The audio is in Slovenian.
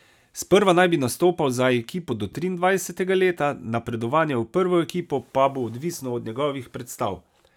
Sprva naj bi nastopal za ekipo do triindvajsetega leta, napredovanje v prvo ekipo pa bo odvisno od njegovih predstav.